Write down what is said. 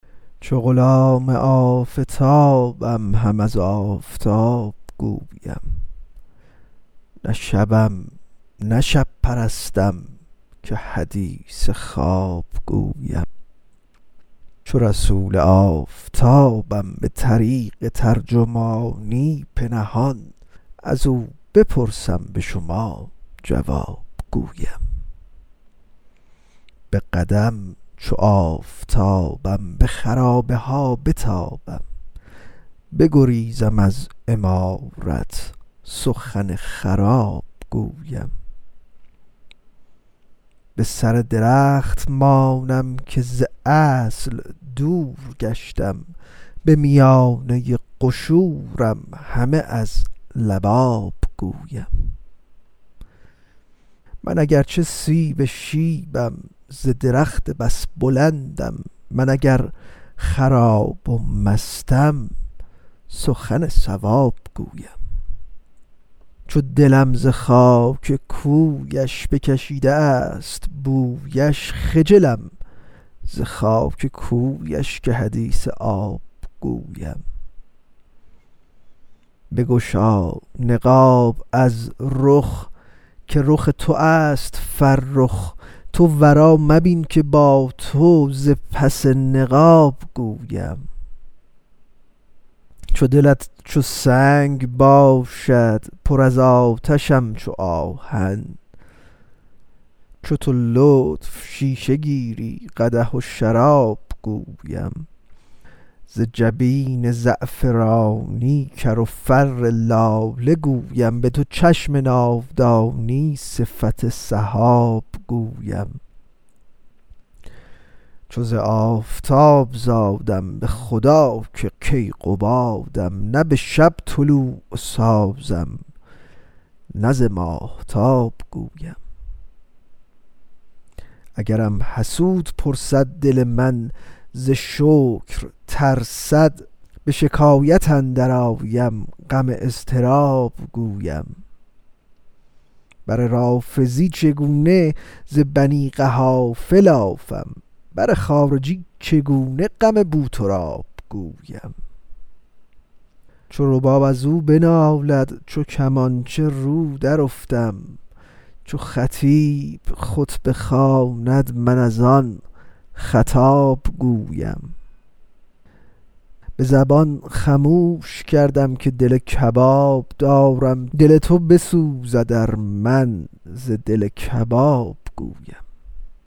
چو غلام آفتابم هم از آفتاب گویم نه شبم نه شب پرستم که حدیث خواب گویم چو رسول آفتابم به طریق ترجمانی به نهان از او بپرسم به شما جواب گویم به قدم چو آفتابم به خرابه ها بتابم بگریزم از عمارت سخن خراب گویم به سر درخت مانم که ز اصل دور گشتم به میانه قشورم همه از لباب گویم من اگر چه سیب شیبم ز درخت بس بلندم من اگر خراب و مستم سخن صواب گویم چو دلم ز خاک کویش بکشیده است بویش خجلم ز خاک کویش که حدیث آب گویم بگشا نقاب از رخ که رخ تو است فرخ تو روا مبین که با تو ز پس نقاب گویم چو دلت چو سنگ باشد پر از آتشم چو آهن تو چو لطف شیشه گیری قدح و شراب گویم ز جبین زعفرانی کر و فر لاله گویم به دو چشم ناودانی صفت سحاب گویم چو ز آفتاب زادم به خدا که کیقبادم نه به شب طلوع سازم نه ز ماهتاب گویم اگرم حسود پرسد دل من ز شکر ترسد به شکایت اندرآیم غم اضطراب گویم بر رافضی چگونه ز بنی قحافه لافم بر خارجی چگونه غم بوتراب گویم چو رباب از او بنالد چو کمانچه رو درافتم چو خطیب خطبه خواند من از آن خطاب گویم به زبان خموش کردم که دل کباب دارم دل تو بسوزد ار من ز دل کباب گویم